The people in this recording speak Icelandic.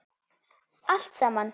Allt saman?